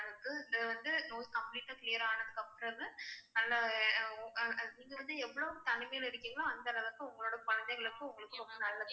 அது வந்து நோய் complete ஆ clear ஆனதுக்கப்புறம் நீங்க வந்து எவ்வளவு தனிமையில இருக்கிங்களோ அந்த அளவுக்கு உங்களோட குழந்தைகளுக்கும் உங்களுக்கும் ரொம்ப நல்லது.